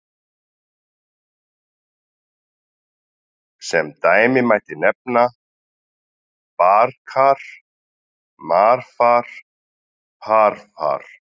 Sem dæmi mætti nefna: bar-kar, mar-far, par-var.